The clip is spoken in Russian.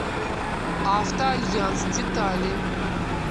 авто альянс детали